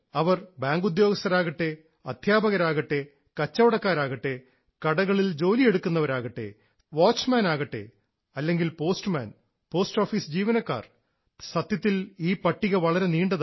അവർ bank ഉദ്യോഗസ്ഥരാകട്ടെ അദ്ധ്യാപകരാകട്ടെ കച്ചവടക്കാരാകട്ടെ കടകളിൽ ജോലി എടുക്കുന്നവരാകട്ടെ വാച്ച്മാനാകട്ടെ പോസ്റ്റ്മാനാകട്ടെ അല്ലെങ്കിൽ പോസ്റ്റ് ഓഫീസ് ജീവനക്കാരാകട്ടെ സത്യത്തിൽ ഈ പട്ടിക വളരെ നീണ്ടതാണ്